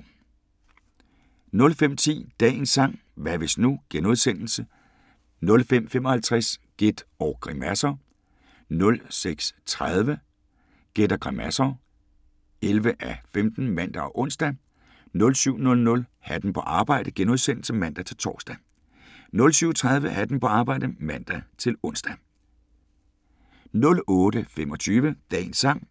05:10: Dagens sang: Hvad hvis nu * 05:55: Gæt og grimasser * 06:30: Gæt og grimasser (11:15)(man og ons) 07:00: Hatten på arbejde *(man-tor) 07:30: Hatten på arbejde (man-ons) 08:25: Dagens sang: